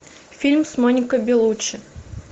фильм с моникой белуччи